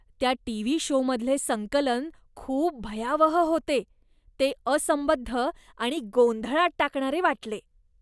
त्या टीव्ही शोमधले संकलन खूप भयावह होते. ते असंबद्ध आणि गोंधळात टाकणारे वाटले.